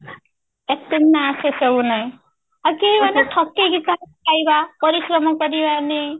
ଏଠି ନା ସେସବୁ ନାଇଁ ଆଉ କେହି ମାନେ ଠକେଇ କାହାର ଖାଇଦେବା ପରିଶ୍ରମ କରିବା ନି